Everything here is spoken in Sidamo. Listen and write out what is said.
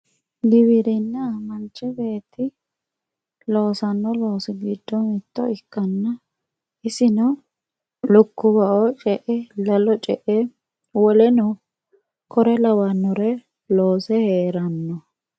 giwirinna manch beetti loosanno loosi giddo mitto ikkanna isino lukkuwa"oo ce"e lalo ce"e woleno kuri lawannore loose heeranno